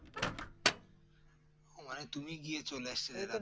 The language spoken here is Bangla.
মানে তুমি গিয়েছো